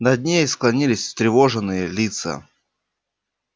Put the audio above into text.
над ней склонились встревоженные лица